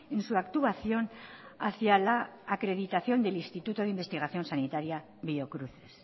en su actuación hacia la acreditación del instituto de investigación sanitaria biocruces